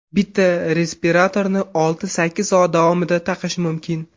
Bitta respiratorni olti-sakkiz soat davomida taqish mumkin.